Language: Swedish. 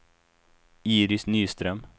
Iris Nyström